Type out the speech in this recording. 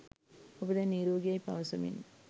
ඔබ දැන් නිරෝගි යැයි පවසමින්